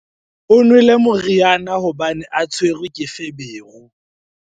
o nwele moriana hobane a tshwerwe ke feberu